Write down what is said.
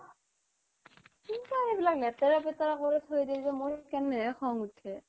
কিন্তু এইবিলাক লেতেৰা পেতেৰা কৰি থৈ দিয়ে যে মোৰ সেইকাৰণে খং উঠে